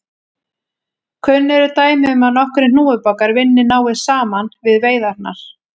Kunn eru dæmi um að nokkrir hnúfubakar vinni náið saman við veiðarnar.